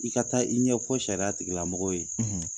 I ka taa i ɲɛfɔ sariya tigilamɔgɔw ye.